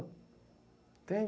Entende?